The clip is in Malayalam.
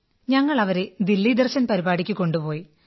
ഞങ്ങൾ അവരെ ദില്ലി ദർശൻ പരിപാടിക്ക് കൊണ്ടുപായി